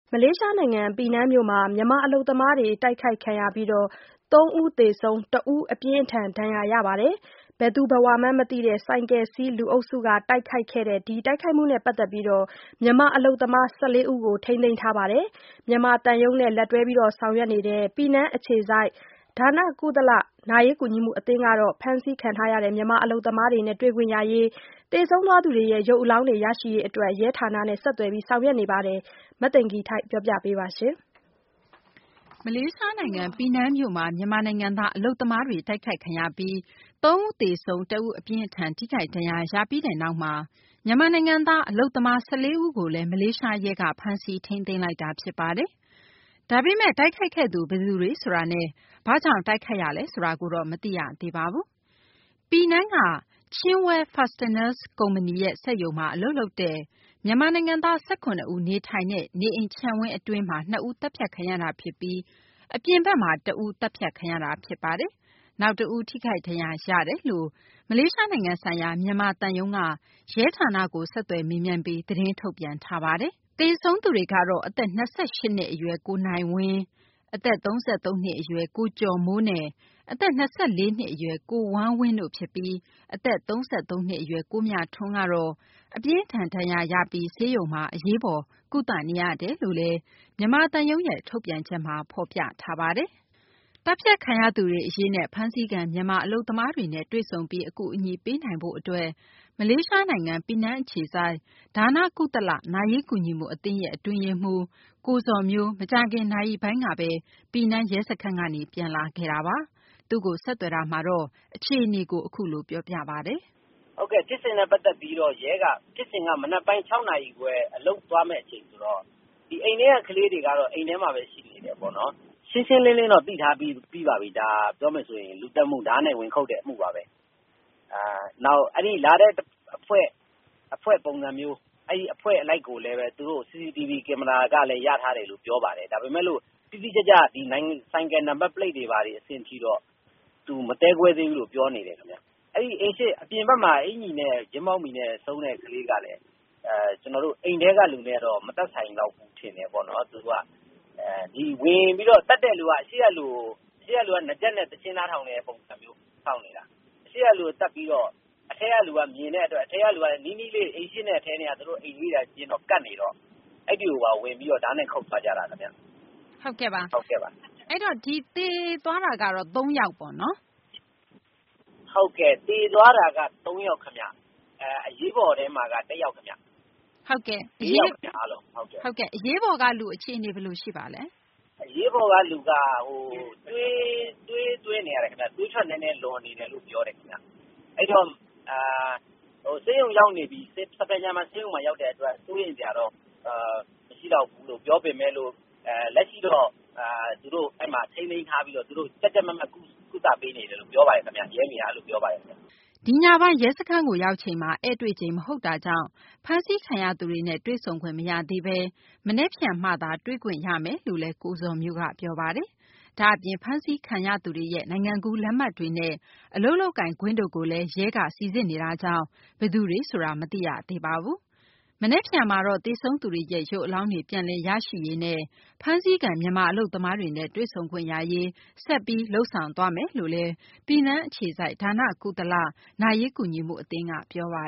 မလေးရှားနိုင်ငံ ပီနန်းမြို့မှာ မြန်မာ အလုပ်သမားတွေ တိုက်ခိုက်ခံရပြီး ၃ ဦး သေဆုံး ၁ ဦး အပြင်းအထန် ဒဏ်ရာရပါတယ်။ ဘယ်သူဘယ်ဝါမှန်း မသိရတဲ့ ဆိုင်ကယ်စီး လူအုပ်စုက တိုက်ခိုက်ခဲ့တဲ့ ဒီတိုက်ခိုက်မှုနဲ့ ပတ်သက်ပြီး မြန်မာ အလုပ်သမား ၁၄ ဦးကို ထိန်းသိမ်းထားပါတယ်။ မြန်မာ သံရုံးနဲ့ လက်တွဲဆောင်ရွက်နေတဲ့ ပီနန်း အခြေစိုက် ဒါနကုသလ နာရေး ကူညီမှု အသင်းကတော့ ဖမ်းဆီးခံ မြန်မာအလုပ်သမားတွေနဲ့ တွေ့ခွင့် ရရေး၊ သေဆုံးသူတွေရဲ့ ရုပ်အလောင်းတွေ ရရှိရေး အတွက် ရဲဌာနနဲ့ ဆက်သွယ်ဆောင်ရွက်နေပါတယ်။ မသိင်္ဂ ီထိုက် ဆက်သွယ်စုံစမ်းထားပါတယ်။ မလေးရှား နိုင်ငံ ပီနန်းမြို့မှာ မြန်မာနိုင်ငံသား အလုပ်သမားတွေ တိုက်ခိုက်ခံရပြီး ၃ ဦး သေဆုံးပြီး ၁ ဦး အပြင်းအထန် ထိခိုက်ဒဏ်ရာရပြီးနောက်မှာ မြန်မာနိုင်ငံသား အလုပ်သမား ၁၄ ဦးကိုလည်း မလေးရှားရဲက ဖမ်းဆီးထိန်းသိမ်းလိုက်တာ ဖြစ်ပါတယ်။ ဒါပေမယ့် တိုက်ခိုက်ခဲ့သူ ဘယ်သူတွေ ဆိုတာနဲ့ ဘာကြောင့် တိုက်ခိုက်ရလဲ ဆိုတာကိုတော့ မသိရသေးပါဘူး။ ပီနန်း က Chin Well Fasteners Co. Sdn Bhd စက်ရုံမှာ အလုပ်လုပ်တဲ့ မြန်မာနိုင်ငံသား ၁၇ ဦး နေထိုင်တဲ့ နေအိမ်ခြံဝင်း အတွင်းမှာ ၂ ဦးသတ်ဖြတ်ခံရပြီး အပြင်ဘက်မှာ ၁ ဦး သတ်ဖြတ် ခံရပြီး နောက်တဦးဒဏ်ရာရ တယ်လို့ မလေးရှားနိုင်ငံ ဆိုင်ရာ မြန်မာ သံရုံးက ရဲဌာနကို ဆက်သွယ်မေးမြန်းပြီး ထုတ်ပြန်ထားပါတယ်။ သေဆုံးသူတွေကတော့ အသက် ၂၈ နှစ် အရွယ် ကိုနိုင်ဝင်း၊ အသက် ၃၃ နှစ် အရွယ် ကိုကျော်မိုးနဲ့ အသက် ၂၄ နှစ် အရွယ် ကိုဝမ်းဝင်းတို့ ဖြစ်ပြီး အသက် ၃၃ နှစ် အရွယ် ကိုမြထွန်းကတော့ အပြင်းအထန် ဒဏ်ရရပြီး ဆေးရုံး အရေးပေါ်တင် ကုသနေရတယ်လို့လည်း မြန်မာသံရုံးက ထုတ်ပြန်ထားပါတယ်။ သတ်ဖြတ်ခံရသူတွေ အရေးနဲ့ ဖမ်းဆီးခံ မြန်မာ အလုပ်သမားတွေနဲ့ တွေ့ဆုံပြီး အကူအညီပေးနိုင်ရေး အတွက် မလေးရှားနိုင်ငံ ပီနန်း အခြေစိုက် ဒါနကုသလ နာရေးကူညီမှု အသင်းရဲ့ အတွင်းရေးမှူး ကိုဇော်မျိုး မကြာခင် နာရီပိုင်းကပဲ ပီနန်း ရဲစခန်းကနေ ပြန်လာတာပါ။ သူ့ကို ဆက်သွယ်တာမှာတော့ အခြေအနေကို အခုလို ပြောပါတယ်။ “ဟုတ်ကဲ့ ဖြစ်စဉ်နဲ့ပတ်သက်ပြီး ရဲက ဖြစ်စဉ်က မနက် ၆ နာရီခွဲအလုပ်သွားမယ့်အချိန်ဆိုတော့ ဒီအိမ်ထဲက ကလေးတွေက အိမ်ထဲမှာပဲ ရှိနေတယ်ပေါ့နော်။ ရှင်းရှင်းလင်းလင်းတော့သိထားပြီးပါပြီ ပြောမယ်ဆိုရင်တော့ လူသတ်မှု၊ ဓါးနဲ့ဝင်ခုတ်တဲ့အမှုပါပဲ။ နောက်လာတဲ့အဖွဲ့ပုံစံမျိုး အဲဒီအဖွဲ့လိုက်ကိုလည်း သူတို့ CCTV ကင်မရာက ရထားတယ်လို့ပြောပါတယ်။ ဒါပေမယ့်လို့ တိတိကျကျ ဆိုင်ကယ် နံပတ်ပလိပ်တွေအဆင့်အထိကတော့ သူမသဲကွဲသေးဘူးလို့တော့ပြောနေတယ်ခင်ဗျ။ အဲဒီအိမ်ရှေ့အပြင်ဘက်မှာ ဂျင်းဘောင်းဘီနဲ့ ဆုံးတဲ့ကလေးကလည်း ကျနော်တို့ အိမ်ထဲကလူနဲ့တော့ မသက်ဆိုင်လောက်ဘူးပေါ့နော်။ ဝင်ပြီးတော့ သတ်တဲ့လူက အရှေ့ကလူကို အရှေ့ကလူက နားကျပ်နဲ့ သီချင်းနားထောင်နေတဲ့ပုံစံမျိုး ဖြစ်နေတာ။ အရှေ့ကလူကို သတ်ပြီးတော့ အထဲကလူကလည်းမြင်တဲ့အတွက် အထဲကအိမ်ရှေ့နဲ့ နီးနီးလေး သူတို့က အိမ်ကလေးတွေကလည်း ကပ်နေတော့ သူတို့က အဲဒီအထိကိုပါ ဝင်ပြီးတော့ ဓါးနဲ့ ခုတ်သွားကြတာခင်ဗျ။ ဟုတ်ကဲ့ပါ။ ဒီသေသွားတာကတော့ ၃ ယောက်ပေါ့နော်။ ဟုတ်ကဲ့သေသွားတာက ၃ ယောက်ခင်ဗျ။ အရေးပေါ်ထဲမှာက ၁ ယောက် ခင်ဗျ။ အရေးပေါ်ကလူ အခြေအနေဘယ်လိုရှိပါသလဲ။ အရေးပေါ်ကလူက သွေးသွင်းနေရတယ်ခင်ဗျ။ သွေးထွက်နည်းနည်း လွန်နေတယ်လို့ပြောနေတယ်ခင်ဗျ။ ဆေးရုံရောက်နေပြီ ပီနန်း ဆေးရုံရောက်တဲ့အတွက် စိုးရိမ်စရာတော့ မရှိလောက်ဘူးလို့ပြောတဲ့အတွက် လက်ရှိတော့ သူတို့ထိန်းသိမ်းထားပြီးတော့ ကျပ်ကျပ်မတ်မတ် ကုသပေးနေတယ်လို့ ရဲတွေက ပြောပါတယ်ခင်ဗျ။” ဒီညပိုင်း ရဲစခန်းကို ရောက်ချိန်မှာ ဧည့်တွေ့ချိန် မဟုတ်တာကြောင့် ဖမ်းဆီးခံရသူတွေနဲ့ တွေ့ဆုံခွင့် မရသေးဘဲ မနက်ဖြန် မနက်ရောက်မှသာ တွေ့ခွင့်ရမယ်လို့လည်း ကိုဇော်မျိုးက ပြောပါတယ်။ ဒါ့အပြင် ဖမ်းဆီးခံရသူတွေရဲ့ နိုင်ငံကူးလက်မှတ်တွေနဲ့ အလုပ်လုပ်ကိုင်ခွင့်တို့ကိုလည်း ရဲ့ စိစစ်နေတာကြောင့် ဘယ်သူတွေဆိုတာ မသိရသေးပါဘူး။ မနက်ဖြန်မှာတော့ သေဆုံးသူတွေရဲ့ ရုပ်အလောင်းတွေ ပြန်လည် ရရှိရေးနဲ့ ဖမ်းဆီးခံ မြန်မာ အလုပ်သမားတွေနဲ့ တွေ့ဆုံခွင့်ရရေး ဆက်ပြီး ကြိုးပမ်းသွားမယ်လို့လည်း ပီနန်း အခြေစိုက် ဒါနကုသမ နာရေးကူညီမှု အသင်းက ပြောဆိုပါ